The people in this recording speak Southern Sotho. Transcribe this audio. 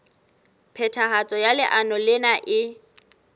phethahatso ya leano lena e